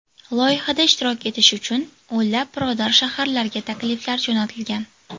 Loyihada ishtirok etish uchun o‘nlab birodar shaharlarga takliflar jo‘natilgan.